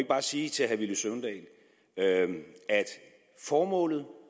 bare sige til herre villy søvndal at formålet